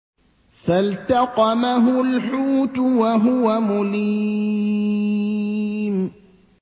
فَالْتَقَمَهُ الْحُوتُ وَهُوَ مُلِيمٌ